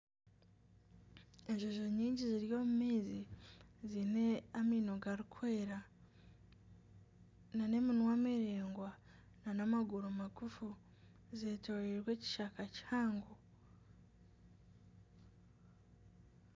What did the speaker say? Enjojo nyingi ziri omu maizi ziine amaino garikwera nana eminwa miraingwa nana amaguru magufu zeetoreirwe ekishaka kihango